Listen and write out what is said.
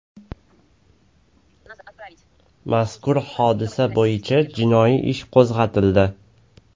Mazkur hodisa bo‘yicha jinoiy ish qo‘zg‘atildi .